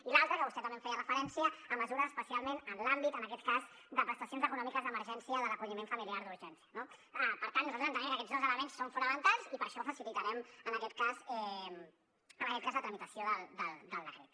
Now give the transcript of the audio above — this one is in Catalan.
i l’altra a què vostè també hi feia referència a mesures especialment en l’àmbit en aquest cas de prestacions econòmiques d’emergència de l’acolliment familiar d’urgència no per tant nosaltres entenem que aquests dos elements són fonamentals i per això facilitarem en aquest cas la tramitació del decret